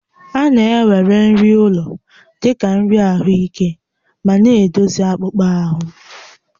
A na-ewere nri ụlọ dị ka nri ahụike ma na-edozi akpụkpọ ahụ